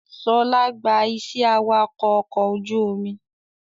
Ṣọlá gba iṣẹ́ awakọ̀ ọkọ̀ ojú omi